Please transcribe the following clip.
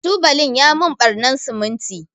tubalin ya mun ɓarnan siminti.